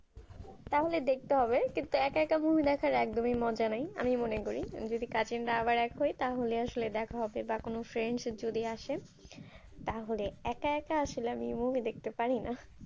তাহলে দেখতে হবে কিন্তু একা একা movie দেখার একদমই মজা নাই আমি মনে করি যদি cousin রা আবার এক হই তাহলে আসলে দেখা হবে বা কোন friends যদি আসে তাহলে। একা একা আসলে আমি movie দেখতে পারিনা